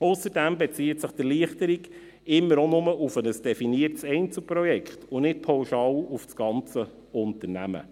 Ausserdem bezieht sich die Erleichterung immer auch nur auf ein definiertes Einzelprojekt und nicht pauschal auf das ganze Unternehmen.